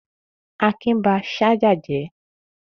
Akin ba ṣájà jẹ́?